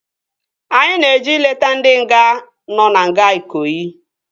Anyị na-eje ileta ndị nga nọ na nga Ikoyi